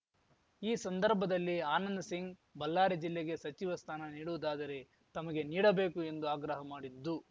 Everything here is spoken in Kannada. ಈ ಸಂದರ್ಭದಲ್ಲಿ ಆನಂದ್‌ ಸಿಂಗ್‌ ಬಲ್ಲಾರಿ ಜಿಲ್ಲೆಗೆ ಸಚಿವ ಸ್ಥಾನ ನೀಡುವುದಾದರೆ ತಮಗೆ ನೀಡಬೇಕು ಎಂದು ಆಗ್ರಹ ಮಾಡಿದ್ದು